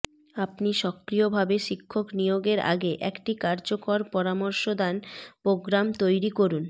আপনি সক্রিয়ভাবে শিক্ষক নিয়োগের আগে একটি কার্যকর পরামর্শদান প্রোগ্রাম তৈরি করুন